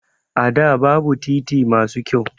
A da babu titi masu kyau